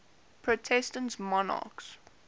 protestant monarchs